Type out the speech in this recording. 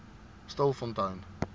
stilfontein